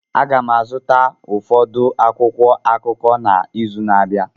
Aga m azụta ụfọdụ akwụkwọ akụkọ n'izu na-abịa